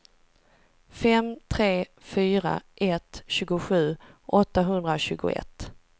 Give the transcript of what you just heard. fem tre fyra ett tjugosju åttahundratjugoett